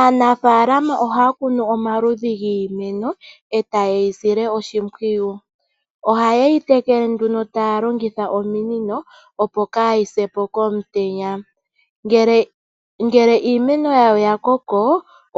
Aanafalama oha kunu omaludhi giimeno eta ye yisile oshimpiwiyu, ohaye yiitekele nduuno taya longitha ominino opo kayi sepo komutenya. Ngele iimeno yawo ya koko